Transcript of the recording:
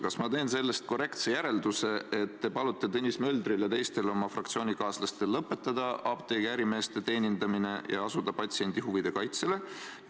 Kas ma teen sellest korrektse järelduse, et te palute Tõnis Möldril ja teistel oma fraktsioonikaaslastel lõpetada apteegiärimeeste teenindamine ja asuda patsiendi huvide kaitsele?